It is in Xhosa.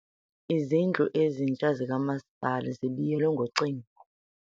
Izindlu ezintsha zikamasipala zibiyelwe ngocingo.